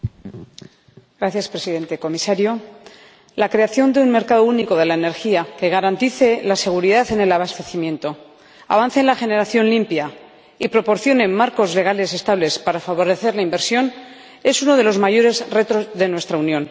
Señor Presidente, Comisario, la creación de un mercado único de la energía que garantice la seguridad en el abastecimiento, avance en la generación limpia y proporcione marcos legales estables para favorecer la inversión es uno de los mayores retos de nuestra Unión.